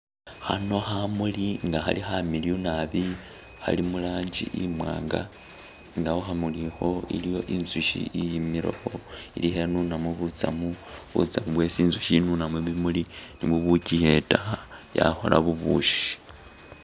Khano khamuli nga khali khamiliyu naabi khali mu rangi imwanga nga khukhamuli ikho iliyo inzushi iyimile kho ilikho inunamo butsamu, butsamu bwesi inzukhi inuna mubimuli, nibwo bukyiyeta yakhola bubushi.